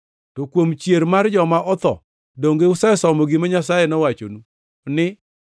To kuom chier mar joma otho, donge usesomo gima Nyasaye nowachonu ni,